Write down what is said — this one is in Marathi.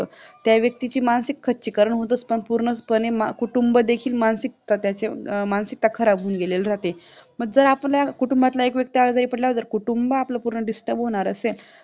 त्या व्यक्तीची मानसिक खचीकरण होतच पण पूर्ण पणे कुटुंब देखील मानसिकता त्याची मानसिकता खराब होऊन गेलेली राहते जर आपल्या कुटुंबातला एक व्यक्ती आजारी पडला तर कुटुंब आपलं पूर्ण Disturb होणार असेल